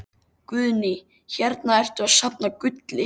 Guðný: Hérna ertu að safna gulli?